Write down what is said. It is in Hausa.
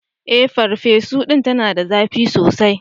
Eh, farfesu din tana da zapi sosai.